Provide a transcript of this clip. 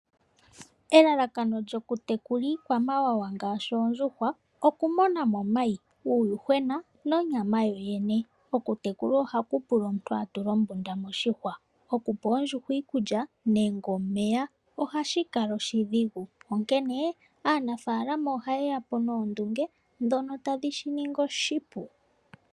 Elalakano lyoku tekula iikwamawawa ngaashi oondjuhwa okumona omayi, uuyuhwena nonyama yoyene. Okutekula oondjuhwa oha ku pula omuntu atule ombunda moshihwa. Okupa oondjuhwa iikulya nande omeya ohashi kala oshi dhingu onkene aanafalama ohayeya po noondunge ndhono tadhi shi ningi oshipu.